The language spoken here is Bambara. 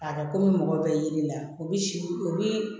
A ka komi mɔgɔ bɛ yelen na o bi si o bi